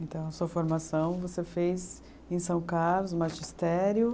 Então, a sua formação você fez em São Carlos, magistério?